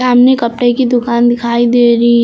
सामने कपड़े की दुकान दिखाई दे रही है।